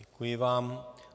Děkuji vám.